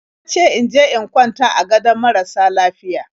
Ya ce in je in kwanta a gadon marasa lafiya.